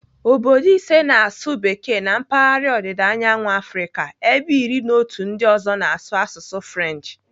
Obodo ise na-asụ bekee na mpaghara ọdịdaanyawu Afrịka ebe iri na otu ndị ọzọ na-asụ asụsụ French.